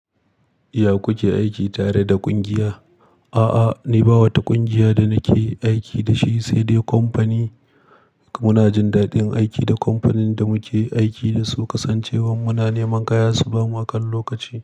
Ya ku ke aiki tare da ƙungiya? A'a, ni ba wata ƙungiya da nake aiki da shi, sai dai kamfani, muna jin daɗin aiki da kamfanin da muke aiki da su, kasancewar muna neman kaya, su bamu akan lokaci.